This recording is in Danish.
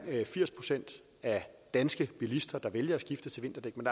firs procent af danske bilister der vælger at skifte til vinterdæk men